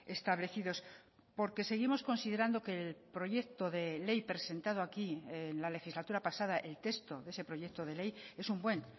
establecidos porque seguimos considerando que el proyecto de ley presentado aquí en la legislatura pasada el texto de ese proyecto de ley es un buen